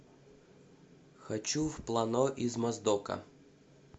хочу в плано из моздока